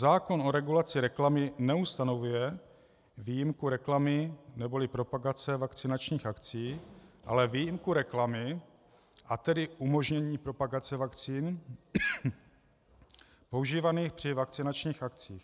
Zákon o regulaci reklamy neustanovuje výjimku reklamy neboli propagace vakcinačních akcí, ale výjimku reklamy, a tedy umožnění propagace vakcín používaných při vakcinačních akcích.